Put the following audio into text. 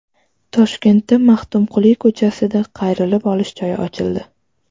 Toshkentda Maxtumquli ko‘chasida qayrilib olish joyi ochildi.